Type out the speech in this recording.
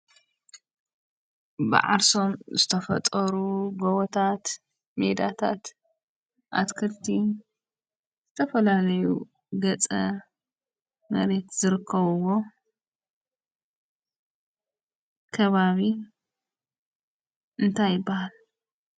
ብዓርሶም ዝተፈጠሩ ጎቦታት፣ ሜዳታት፣ ኣትክልትን፣ ዝተፈላለዩ ገፀ መሬት ዝርከብዎ ከባቢ እንታይ ይባሃል?